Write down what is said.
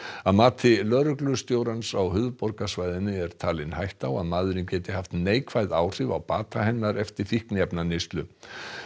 að mati lögreglustjórans á höfuðborgarsvæðinu er talin hætta á að maðurinn geti haft neikvæð áhrif á bata hennar eftir fíkniefnaneyslu